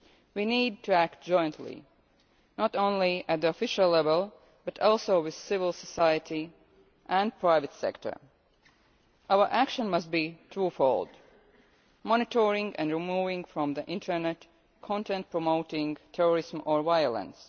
We need to act jointly, not only at official level but also with civil society and the private sector. Our action must be twofold monitoring, and removing from the internet, content that promotes terrorism or violence